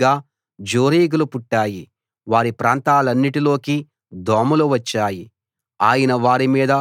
ఆయన ఆజ్ఞ ఇయ్యగా జోరీగలు పుట్టాయి వారి ప్రాంతాలన్నిటిలోకీ దోమలు వచ్చాయి